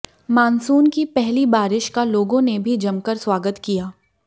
monsoon की पहली बारिश का लोगों ने भी जमकर स्वागत किया